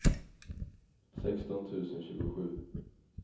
sexton tusen tjugosju